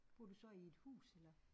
Bor du så i et hus eller